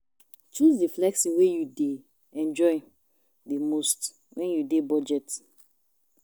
Choose di flexing wey you dey enjoy di most when you dey budget